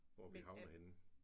Hvor er vi havnet henne?